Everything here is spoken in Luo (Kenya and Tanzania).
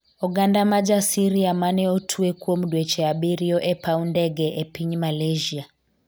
oganda ma jaSyria mane otwe kuom dweche abiriyo e paw ndege e piny Malaysia